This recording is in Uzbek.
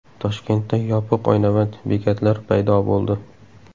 Toshkentda yopiq oynavand bekatlar paydo bo‘ldi .